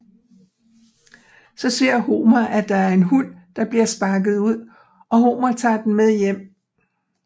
Så ser Homer at der er en hund der bliver sparket ud og Homer tager den med hjem